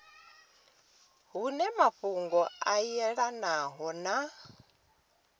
hune mafhungo a yelanaho na